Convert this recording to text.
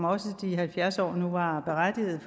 også de halvfjerds år var berettiget